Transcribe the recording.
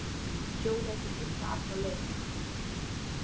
Hjólað til heilla alla leið